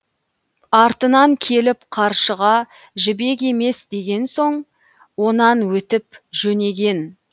артынан келіп қаршыға жібек емес деген соң онан өтіп жөнеген